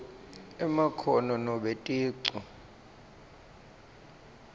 emakhono nobe ticu